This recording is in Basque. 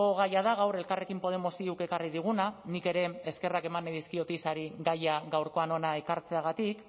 gaia da gaur elkarrekin podemos iuk ekarri diguna nik ere eskerrak eman dizkiot isari gaia gaurkoan hona ekartzeagatik